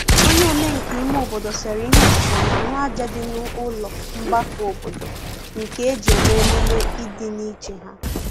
onye omenka ime obodo sere ihe osise n'ahu aja di n'ulo mgbako obodo nke eji eme -emume idi n'iche ha